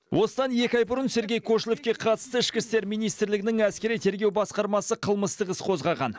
осыдан екі ай бұрын сергей кошелевке қатысты ішкі істер министрлігінің әскери тергеу басқармасы қылмыстық іс қозғаған